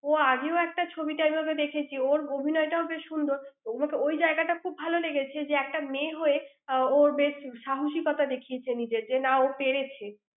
ওর আগেও একটা ছবিতে আমি ওকে দেখেছি। ওর অভিনয়টাও বেশ সুন্দর। ওর~ ওই জায়গাটা খুব ভাল লেগেছে যে, একটা মেয়ে হয়ে, আহ ও বেশ সাহসিকতা দেখিয়েছে নিজের, যে না ও পেরেছে।